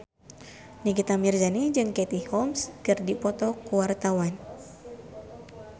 Nikita Mirzani jeung Katie Holmes keur dipoto ku wartawan